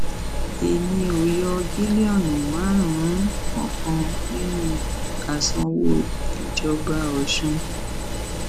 èmi ò yọ bílíọnù márùnún kankan nínú àsanwó ìjọba ọsùn